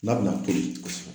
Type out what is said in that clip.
N'a bɛna toli